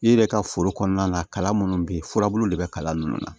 I yɛrɛ ka foro kɔnɔna na kalan munnu be yen furabulu de be kalan nunnu na